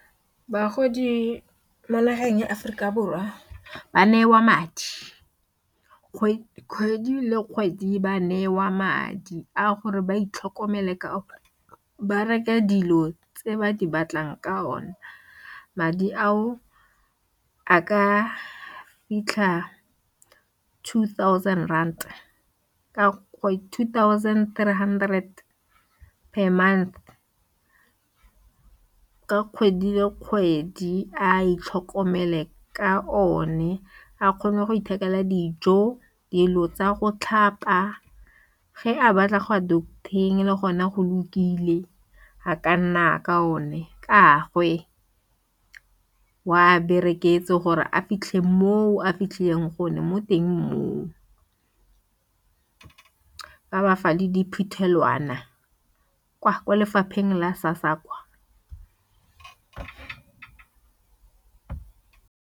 Bagodi mo nageng ya Aforika Borwa ba newa madi kgwedi le kgwedi ba newa madi a gore ba itlhokomele ka ba reka dilo tse ba di batlang ka o ne madi ao a ka fitlha two thousand rand ka two thousand three hundred per month ka kgwedi le kgwedi a itlhokomele ka o ne a kgone go ithekela dijo dilo tsa go tlhapa ge a batla gwa doctor-eng le gona go lokile a ka nna ka o ne ke gagwe bereketseng gore a fitlhe mo a fitlhileng gone mo teng mo ba ba fa le diphuthelwana kwa lefapheng la SASSA kwa.